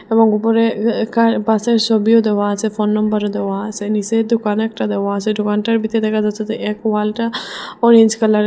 এবং উপরে এ এ কার বাসের সবিও দেওয়া আছে ফোন নাম্বারও আসে নীসে দোকান একটা দেওয়া আসে দোকানটার ভিতরে দেখা যাচ্ছে যে এক ওয়ালটা অরেঞ্জ কালারের।